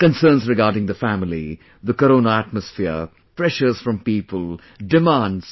Concerns regarding the family, the Corona atmosphere, pressures from people, demands